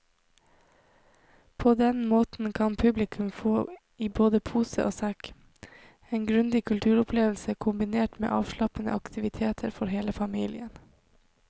På den måten kan publikum få i både pose og sekk, en grundig kulturopplevelse kombinert med avslappende aktiviteter for hele familien.